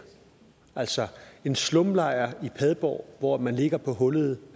altså en slumlejr i padborg hvor man ligger på hullede